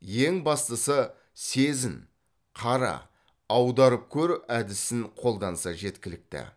ең бастысы сезін қара аударып көр әдісін қолданса жеткілікті